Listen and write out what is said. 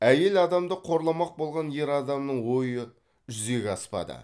әйел адамды қорламақ болған ер адамның ойы жүзеге аспады